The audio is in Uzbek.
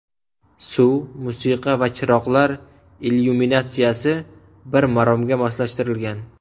Suv, musiqa va chiroqlar illyuminatsiyasi bir maromga moslashtirilgan.